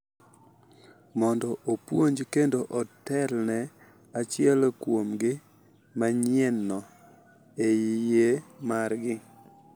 Mondo opuonj kendo otelne achiel kuomgi manyienno e yie margi.